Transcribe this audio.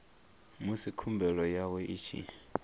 musi khumbelo yawe i tshi